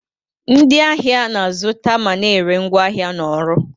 Ndị ahịa na-azụta ma na-ere ngwaahịa na ọrụ.